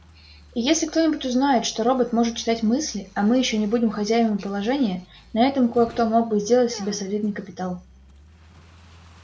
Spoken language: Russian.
и если кто-нибудь узнает что робот может читать мысли а мы ещё не будем хозяевами положения на этом кое-кто мог бы сделать себе солидный капитал